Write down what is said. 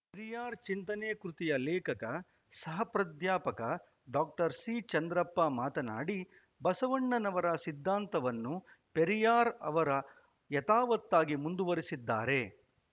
ಪೆರಿಯಾರ್‌ ಚಿಂತನೆ ಕೃತಿಯ ಲೇಖಕ ಸಹ ಪ್ರಾಧ್ಯಾಪಕ ಡಾಸಿಚಂದ್ರಪ್ಪ ಮಾತನಾಡಿ ಬಸವಣ್ಣನವರ ಸಿದ್ಧಾಂತವನ್ನು ಪೆರಿಯಾರ್‌ ಅವರು ಯಥಾವತ್ತಾಗಿ ಮುಂದುವರಿಸಿದ್ದಾರೆ